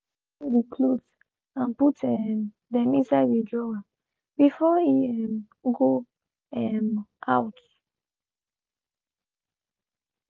he be fold de clothes and put um dem inside de drawer before e um go um out.